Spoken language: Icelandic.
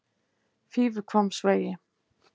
Fífuhvammsvegi